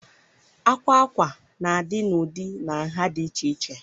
Àkwà ákwá na-adị n'ụdị na nha dị iche iche.